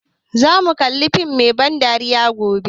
Za mu kalla fim mai ban dariya gobe